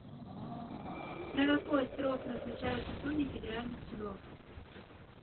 на какой срок назначаются судьи федеральных судов